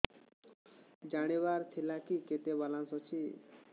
ଜାଣିବାର ଥିଲା କି କେତେ ବାଲାନ୍ସ ଅଛି